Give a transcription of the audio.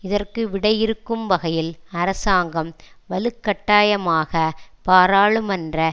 இதற்கு விடையிறுக்கும் வகையில் அரசாங்கம் வலுக்கட்டாயமாக பாராளுமன்ற